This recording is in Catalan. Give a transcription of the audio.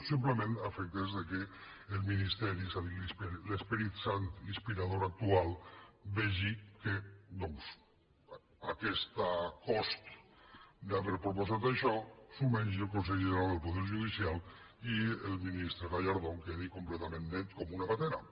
simplement a efectes que el ministeri és a dir l’esperit sant inspirador actual vegi que aquest cost d’haver proposat això se’l mengi el consell general del poder judicial i el ministre gallardón quedi completament net com una patena